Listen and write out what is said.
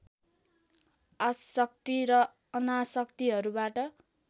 आशक्ति र अनाशक्तिहरूबाट